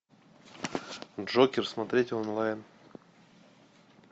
джокер смотреть онлайн